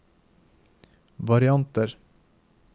varianter